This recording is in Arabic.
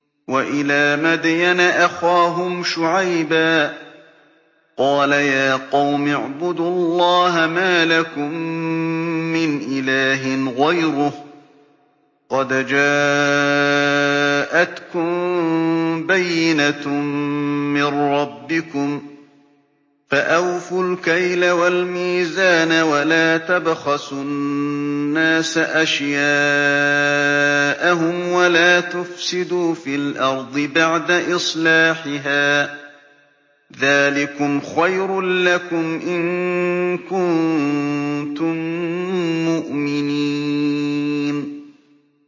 وَإِلَىٰ مَدْيَنَ أَخَاهُمْ شُعَيْبًا ۗ قَالَ يَا قَوْمِ اعْبُدُوا اللَّهَ مَا لَكُم مِّنْ إِلَٰهٍ غَيْرُهُ ۖ قَدْ جَاءَتْكُم بَيِّنَةٌ مِّن رَّبِّكُمْ ۖ فَأَوْفُوا الْكَيْلَ وَالْمِيزَانَ وَلَا تَبْخَسُوا النَّاسَ أَشْيَاءَهُمْ وَلَا تُفْسِدُوا فِي الْأَرْضِ بَعْدَ إِصْلَاحِهَا ۚ ذَٰلِكُمْ خَيْرٌ لَّكُمْ إِن كُنتُم مُّؤْمِنِينَ